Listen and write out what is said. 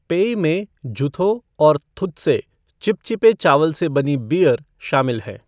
पेय में जुथो और थुत्से, चिपचिपे चावल से बनी बियर शामिल हैं।